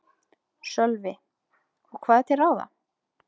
Sölvi: Og hvað er til ráða?